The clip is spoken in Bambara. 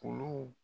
Olu